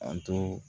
An to